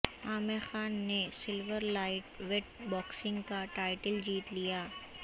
عامر خان نے silver light weight boxing کا title جیت لیا